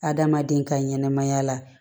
Adamaden ka ɲɛnɛmaya la